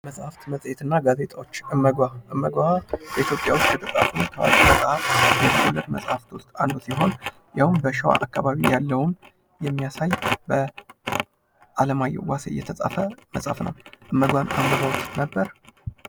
መጻሕፍት መጽሄትና ጋዜጦች እመጓ እመጓ በኢትዮጵያ ውስጥ የተጻፉ መጻሕፍት ውስጥ አንዱ ሲሆን ፤ ይኸውም በሸዋ አካባቢ ያለውን የሚያሳይ በዓለማየሁ ዋሴ የተጻፈ መጽሐፍ ነው። እመጓን አንብበውት ነበር?